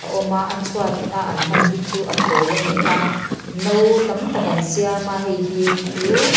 a awm a a chhuat a an hman hi chu a pawl ani a no tam tak an siam a heihi chu--